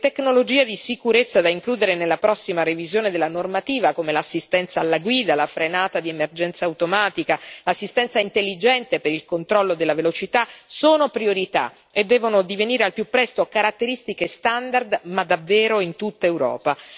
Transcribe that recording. Le tecnologie di sicurezza da includere nella prossima revisione della normativa, come l'assistenza alla guida, la frenata di emergenza automatica e l'assistenza intelligente per il controllo della velocità sono priorità e devono divenire al più presto caratteristiche standard, ma davvero in tutta Europa.